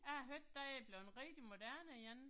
Jeg har hørt det er blevet rigtig moderne igen